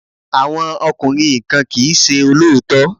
Àwọn ọkùnrin kan kì í ṣe olóòótọ́.